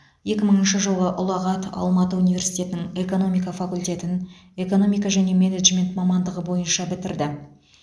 екі мыңыншы жылы ұлағат алматы университетінің экономика факультетін экономика және менеджмент мамандығы бойынша бітірді